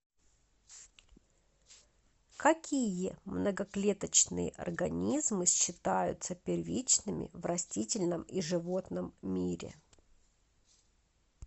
какие многоклеточные организмы считаются первичными в растительном и животном мире